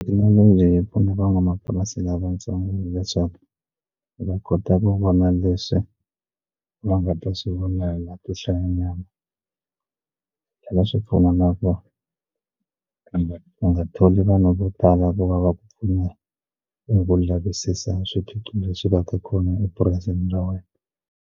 leyi pfuna van'wamapurasi lavatsongo leswaku va kota ku vona leswi va nga ta swi to hlayanyana swi tlhela swi pfuna na vona kumbe u nga tholi vanhu vo tala vo va va ku ku lavisisa swiphiqo leswi va ka kona epurasini ra wena.